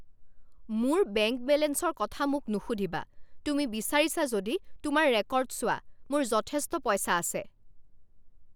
মোৰ বেংক বেলেঞ্চৰ কথা মোক নুসুধিবা। তুমি বিচাৰিছা যদি তোমাৰ ৰেকৰ্ড চোৱা। মোৰ যথেষ্ট পইচা আছে।